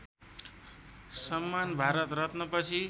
Samman Bharat रत्नपछि